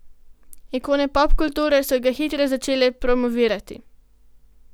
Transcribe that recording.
Ikone popkulture so ga hitro začele promovirati.